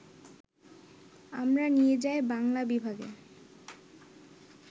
আমরা নিয়ে যাই বাংলা বিভাগে